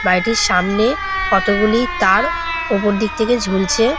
বাড়িটির সামনে কতগুলি তার ওপর দিক থেকে ঝুলছে।